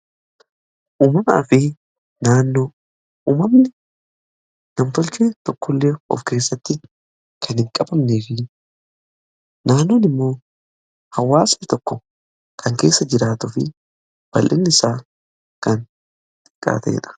Uumamaa fi naannoo uumamni nam-tolchee tokko illee of keessatti kan hin qabamnee fi naannoon immoo hawaasni tokko kan keessa jiraatuu fi bal'inni isaa kan xiqqaa ta'edha